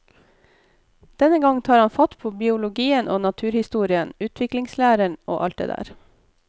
Denne gang tar han fatt på biologien og naturhistorien, utviklingslæren og alt det der.